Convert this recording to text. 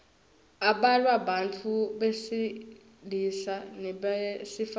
ablalwa bantfu besilisa nebesifazang